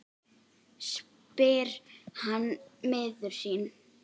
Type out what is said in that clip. spyr hann miður sín.